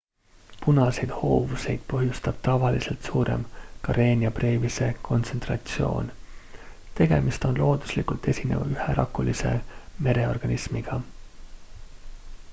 punaseid hoovuseid põhjustab tavalisest suurem karenia brevise kontsentratsioon tegemist on looduslikult esineva üherakulise mereorganismiga